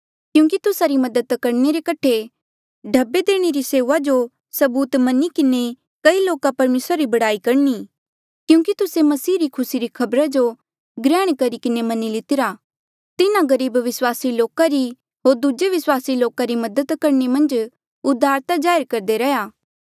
क्यूंकि तुस्सा री मदद करणे रे कठे ढब्बे देणे री सेऊआ जो सबूत मनी किन्हें कई लोका परमेसरा री बड़ाई करणी क्यूंकि तुस्से मसीह री खुसी री खबरा जो ग्रहण करी किन्हें मनी लितिरा तिन्हा गरीब विस्वासी लोका री होर दूजे विस्वासी लोका री मदद करणे मन्झ उदारता जाहिर करदे रैंहयां ऐें